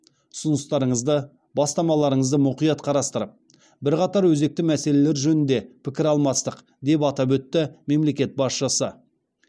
ұсыныстарыңызды бастамаларыңызды мұқият қарастырып бірқатар өзекті мәселелер жөнінде пікір алмастық деп атап өтті мемлекет басшысы